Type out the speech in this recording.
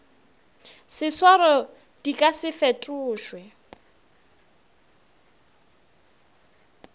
seswaro di ka se fetošwe